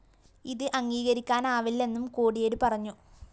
ഇത് അംഗീകരിക്കാനാവില്ലെന്നും കോടിയേരി പറഞ്ഞു